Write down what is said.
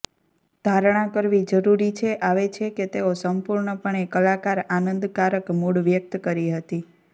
ધારણા કરવી જરૂરી છે આવે છે કે તેઓ સંપૂર્ણપણે કલાકાર આનંદકારક મૂડ વ્યક્ત કરી હતી